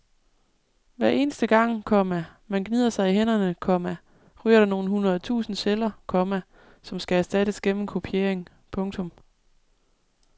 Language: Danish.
Hver eneste gang, komma man gnider sig i hænderne, komma ryger der nogle hundrede tusinde celler, komma som skal erstattes gennem kopiering. punktum